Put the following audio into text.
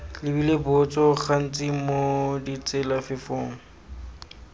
lebile botso gantsi mo ditselafefong